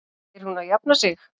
Er hún að jafna sig?